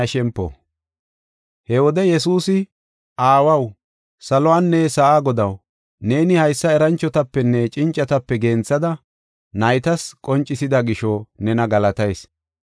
He wode Yesuusi, “Aawaw, saluwanne sa7aa Godaw, neeni haysa eranchotapenne cincatape genthada naytas qoncisida gisho, nena galatayis.